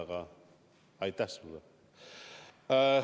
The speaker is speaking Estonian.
Aga aitäh sulle!